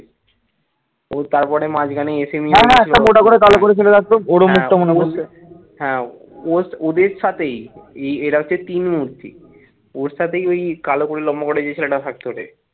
ওর সাথেই ওই কালো করে লম্বা করে যে ছেলেটা থাকতো রে ,